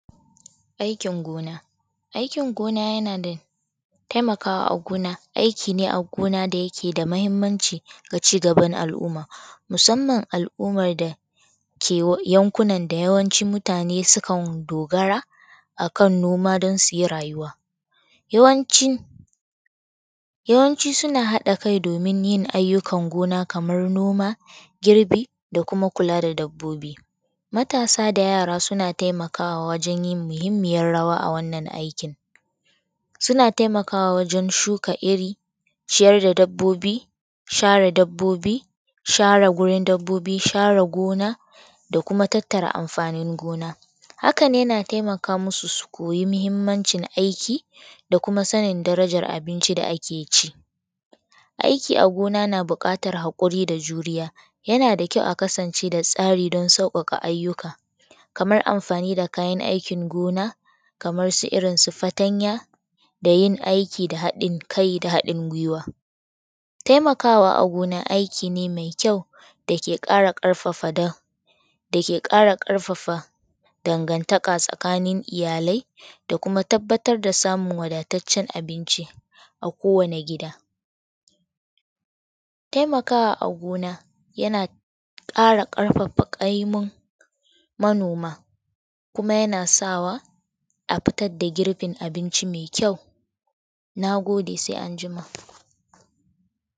Aikin gona, aikin gona yana taimakawa a aikin gona, aiki gina da yake da mahimmanci ga ci gaban al'umma musamman al'ummar dake yankunan d yawanci mutane sukan dogara a kan noma don su yi rayuwa. Yawancin suna haɗa kai domin yin ayyukan noma, girbi da kuma kula da dabbobi. Matasa da yara suna taimakawa wajen yin muhimmiyar rawa a wannan aikin, suna taimakawa wajen shuka iri ciyar da dabbobi, share dabbobi, share wurin dabbobi share gona da kuma tattara amfani gona. Hakan. Yana taimaka musu su koya muhimmancin aiki da kumsa sanin darajar abinci da ake ci aiki a gina na buƙatar hakuri da juriya. Yana da ƙyau a kasance da tsari don sauƙaƙa ayyuka kamar amfani da kayan aikin gona kamar irinsu fatanya da yin aiki da hadin kai da hadin guiwa. Taimakawa a gona aiki ne mai ƙyau dake kara ƙarfafa dangantaka tsakanin iyalai da kuma tabbatar da samun wadataccen abinci a kowanne gida. Taimakawa a gona yana ƙara ƙarfafa ƙaimun manoma kima yana sawa a fitar da girbin abinci mai ƙyau. Na gode sai anjima.